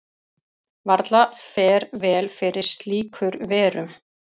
varla fer vel fyrir slíkur verum